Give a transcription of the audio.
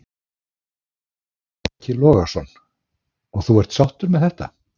Breki Logason: Og þú er sáttur með þetta?